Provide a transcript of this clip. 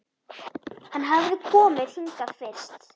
Hann hafði komið hingað fyrst